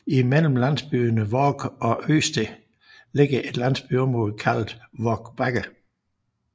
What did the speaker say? Imellem landsbyerne Vork og Ødsted ligger et landområde kaldet Vork Bakker